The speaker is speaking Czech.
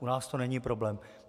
U nás to není problém.